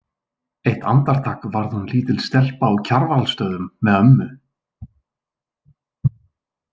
Eitt andartak varð hún lítil stelpa á Kjarvalsstöðum með ömmu.